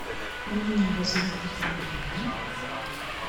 у меня возникли проблемы